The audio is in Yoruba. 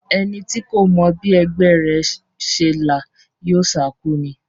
Ẹni tí kò mọ bí ẹgbẹ́ rẹ̀ ṣe là yóò sákú ni.